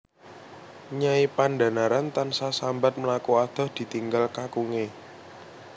Nyai Pandhanaran tansah sambat mlaku adoh ditinggal kakunge